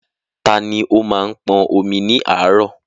Tani ó máa ń pọn omi ní àárọ̀?